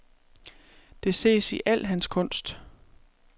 Det ses i al hans kunst.